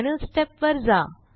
final step वर जा